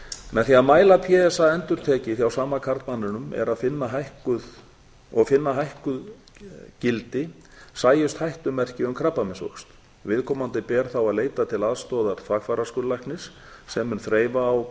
með því að mæla p s a endurtekið hjá sama karlmanninum og finna hækkuð gildi sjást hættumerki um krabbameinsvöxt viðkomandi ber þá að leita aðstoðar þvagfæraskurðlæknis sem mun þreifa á